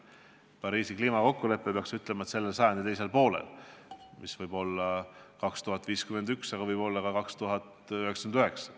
Pole mõtet rääkida selle sajandi teisest poolest, mis võib olla aasta 2051, aga võib olla ka 2099.